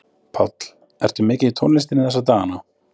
Páll: Ertu mikið í tónlistinni þessa dagana?